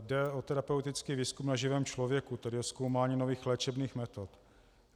Jde o terapeutický výzkum na živém člověku, tedy o zkoumání nových léčebných metod.